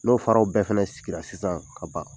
N'o faraw bɛɛ fana sigira sisan ka ban